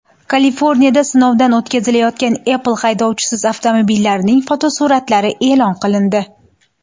Kaliforniyada sinovdan o‘tkazilayotgan Apple haydovchisiz avtomobillarining fotosuratlari e’lon qilindi.